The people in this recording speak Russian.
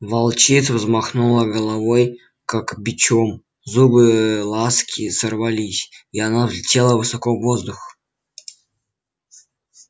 волчица взмахнула головой как бичом зубы ласки сорвались и она взлетела высоко в воздух